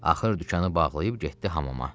Axır dükanı bağlayıb getdi hamama.